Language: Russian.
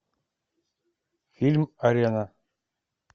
фильм арена